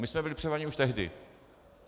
My jsme byli připraveni už tehdy.